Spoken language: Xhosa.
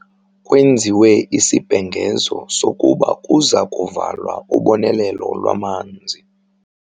Kwenziwe isibhengezo sokuba kuza kuvalwa ubonelelo lwamanzi.